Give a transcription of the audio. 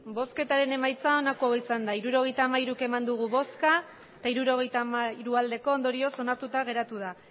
emandako botoak hirurogeita hamairu bai hirurogeita hamairu ondorioz onartuta geratu da